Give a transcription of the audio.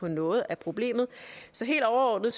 noget af problemet så helt overordnet